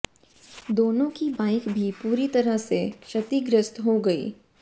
दोनों की बाइक भी पूरी तरह से क्षतिग्रस्त हो गईं